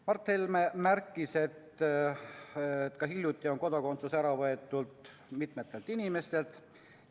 Mart Helme ütles, et ka hiljuti on kodakondsus ära võetud mitmelt inimeselt.